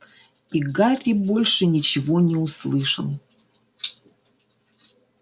и гарри больше ничего не услышал